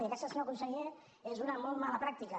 i aquesta senyor conseller és una molt mala pràctica